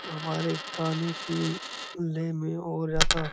हमारे खाने की ले में हो रहा था।